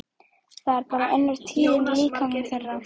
Það er bara önnur tíðni í líkamanum þeirra.